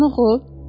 Buranı oxu.